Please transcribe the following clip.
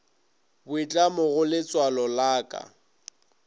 boitlamo go letswalo la ka